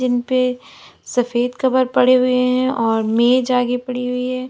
इन पे सफेद कवर पड़े हुए हैं और मेज आगे पड़ी हुई है।